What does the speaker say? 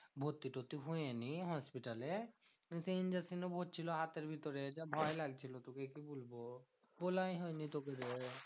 ভর্তি তর্তি হইনি হসপিটালে। সেই injection ও পড়ছিলো হাতের ভিতরে। যা ভয় লাগছিলো তোকে কি বলবো? বলাই হয়নি তোকে রে।